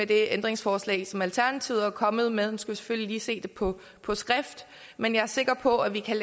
det ændringsforslag som alternativet er kommet med vi selvfølgelig lige se det på på skrift men jeg er sikker på at vi kan